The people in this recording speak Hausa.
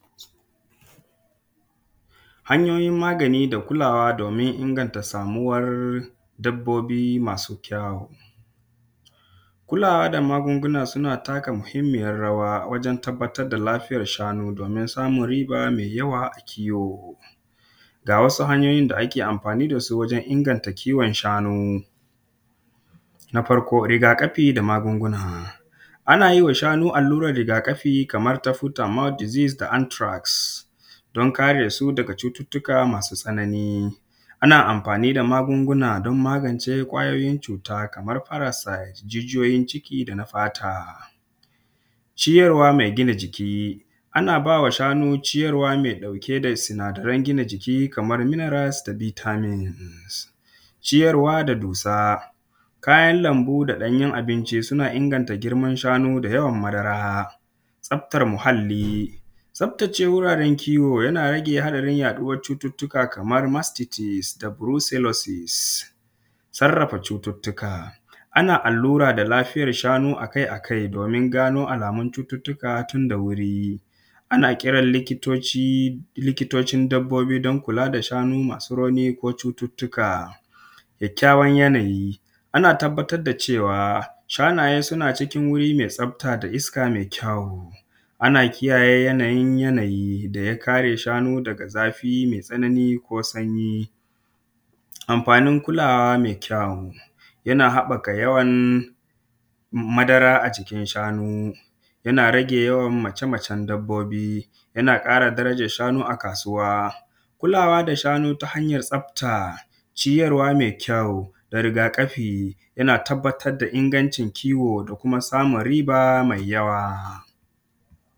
Hanyoyin magani da kulawa domin inganta samuwar dabbobi masu kyau, kulawa da magunguna suna taka muhinmiyar raya a wajen tabbatar da lafiyar shanu domin a samu riba me yawa a kiwo. Ga wasu hanyoyin da ake amfani da su wajen inganta kiwon shanu: na farko rigakafi da magunguna ana ma alluran shanu rigakafi kaman su tumatod dizis da antiras don kare su daga cututtuka masu tsanani, ana amfani da magunguna don magance kwayoyin cuta kamar marasa jijiyoyin ciki da na fata ciyarwa me gina jiki ana ba ma shanu me gina jiki, ana ba wa shanu ciyawa me ɗauke da sinadaran gina jiki kamar minirals da bitamin, ciyarwa da dusa, kayan jiki da ɗanyyun abincin suna inganta girman shanu da yawan madara da tsaftar muhalli, tsaftace wuraren kiwo yana rage adadin yaɗuwan cututtuka kaman mastisis da furolososis, sarrafa cututtuka ana allura da lafiyar shanu akai-akai domin gano alamun cututtuka tun da wuri, ana kiran liktoci, likitocin don kula da shanu masu rauni ko cututtuka. Kakkayawan yanayi ana tabbatar da cewa shanaye suna cikin wuri me tsafta, me iska, me kyawu, ana kiyaye yanayin yanayi da ya kare shanu daga zafi me tsanani ko sanyi, amfanin kula wa me kyawu yana haƙaka yawan madara a jikin shanu yana rage yawan macemacen dabbobi yana ƙara darajan shanu a kasuwa, kulawa da shanu ta hanyan tsafta, ciyarwa me kyau da riga kafi yana tabbatar da ingancin kiwo da kuma samun riba mai yawa.